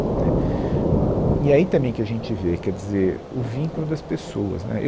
Né, E aí também que a gente vê, quer dizer, o vínculo das pessoas, né, eu